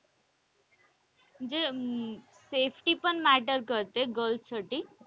म्हणजे safety पण matter करते girls साठी.